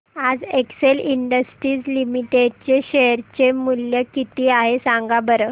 आज Excel industries limited चे share चे मूल्य किती आहे सांगा बरं